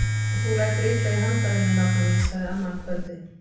Og þú lætur illa í handavinnu nafna mín! sagði amma um kvöldið.